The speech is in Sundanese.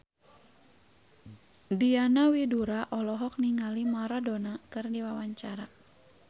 Diana Widoera olohok ningali Maradona keur diwawancara